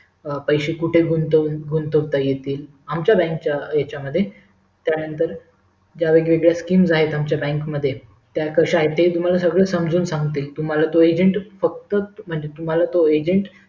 पैस कुठे गुंतवता येतील आमच्या बँकच्या हेच्या मध्ये त्यानंतर वेगवेगळे skim आहेत आमच्या बँक मध्ये त्या कशा आहेत ते सगळं तुम्हाला समजून सांगतील तुम्हाला तो agent फक्त तुम्हाला तो